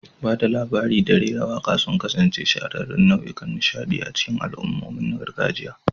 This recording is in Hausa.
Ba da labari da rera waƙa sun kasance shahararrun nau'ikan nishaɗi a cikin al'ummomin gargajiya.